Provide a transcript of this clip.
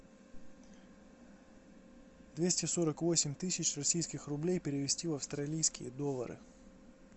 двести сорок восемь тысяч российских рублей перевести в австралийские доллары